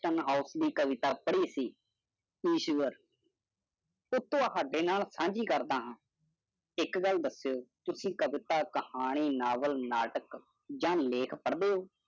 Of ਦੀ ਕਵਿਤਾ ਪੜਿ ਸੀ। ਈਸ਼ਵਰ ਉਹ ਤੁਹੋਡੇ ਨਾਲ ਸਾਂਝੀ ਕਰਦਾ ਹਾਂ। ਇਕ ਗੱਲ ਦਸਯੋ, ਕਿਉਕਿ ਕਵਿਤਾ ਕਹਾਣੀ, ਨੋਵਾਲ ਨਾਟਕ ਜਾ ਲੇਖ ਪੜੋ।